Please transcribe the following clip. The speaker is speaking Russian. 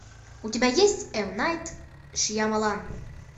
у тебя есть эм найт шьямалан